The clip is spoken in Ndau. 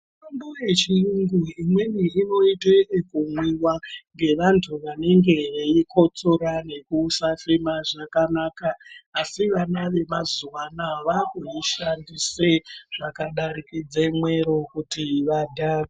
Mitombo yechiyungu imweni inoite yekumwiwa, ngevantu vanenge veikotsora nekusafema zvakanaka, asi vana vemazuwa anaya vakudzishandise zvakadarikidze mwero kuti vadhakwe.